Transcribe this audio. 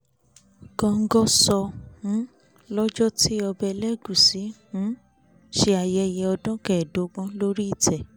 góńgó sọ um lọ́jọ́ tí ọba elégùsì um ṣe ayẹyẹ ọdún kẹẹ̀dógún lórí ìtẹ́